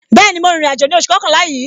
Bẹẹni, ma rin ìrìn àjò ní oṣù kọkànlá yìí.